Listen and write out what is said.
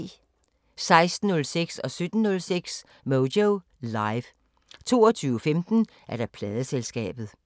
16:06: Moyo Live 17:06: Moyo Live 22:15: Pladeselskabet